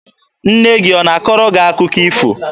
Nne gị ọ na-akọrọ gị akụkọ ifo?